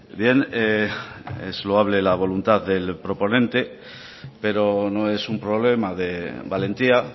bien es loable la voluntad del proponente pero no es un problema de valentía